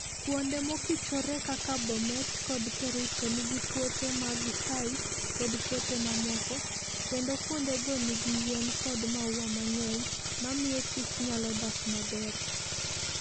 Kuonde mkichre kaka Bomet kod kericho nigi puothe mag chai kod puothe mamoko, kendo kuondego nigi yien kod maua mang'eny mamiyo kich nyalo dak maber.